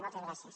moltes gràcies